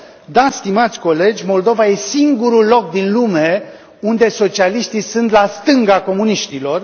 Da, stimați colegi, Moldova e singurul loc din lume unde socialiștii sunt la stânga comuniștilor.